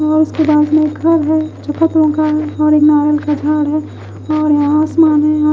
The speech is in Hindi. वो इसके दांत में घर है जो फतों का है और एक नारियल का झाड़ है और--